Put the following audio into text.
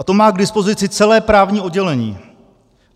A to má k dispozici celé právní oddělení.